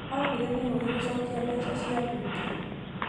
Aũgire nĩ ũgĩ gũcokia mbeca cia mbunge